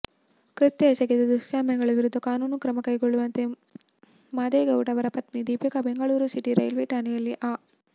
ಕೃತ್ಯ ಎಸಗಿದ ದುಷ್ಕರ್ಮಿಗಳ ವಿರುದ್ಧ ಕಾನೂನು ಕ್ರಮಕೈಗೊಳ್ಳುವಂತೆ ಮಾದೇಗೌಡ ಅವರ ಪತ್ನಿ ದೀಪಿಕಾ ಬೆಂಗಳೂರು ಸಿಟಿ ರೈಲ್ವೆ ಠಾಣೆಯಲ್ಲಿ ಆ